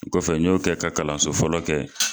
Kɔfɛ n y'o kɛ ka kalanso fɔlɔ kɛ.